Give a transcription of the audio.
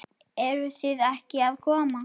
Eruð þið ekki að koma?